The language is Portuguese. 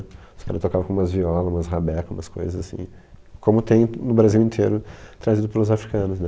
Os caras tocavam com umas violas, umas rabecas, umas coisas assim, como tem no Brasil inteiro trazido pelos africanos né.